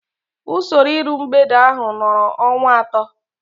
Usoro iru mgbede ahu nọrọ ọnwa atọ